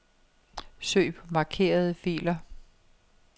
Søg på markerede filer.